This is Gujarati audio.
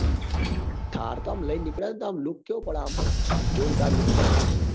હ thar આમ લઇ ને નીકળ્યા હોય ને તો આમ look કેવો પડે આમ જોરદાર look પડે ભાઈ